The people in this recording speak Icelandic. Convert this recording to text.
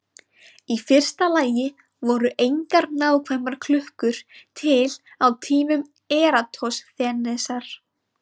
Í fyrsta lagi voru engar nákvæmar klukkur til á tímum Eratosþenesar.